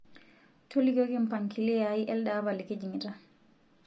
tolikioki mpangilio aai elde apa likijingita